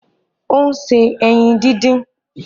Ó ń se ẹyin din-din